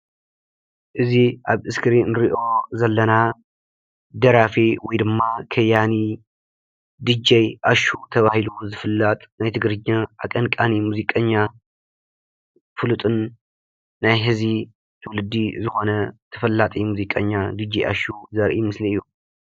እዚ ኣብ እስክሪን ንሪኦ ዘለና ደራፊ ወይ ድማ ከያኒ ዲጄ ኣሹ ተባሂሉ ዝፍለጥ ናይ ትግርኛ ኣቀንቃኒ ሙዚቀኛ ፍሉጥን ናይ ሕዚ ትውልዲ ዝኾነ ተፈላጢ ሙዚቀኛ ዲጄ ኣሹ ዘርኢ ምስሊ እዩ፡፡